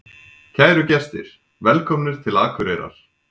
Kæru gestir! Velkomnir til Akureyrar.